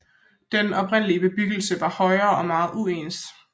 Den oprindelige bebyggelse var højere og meget uens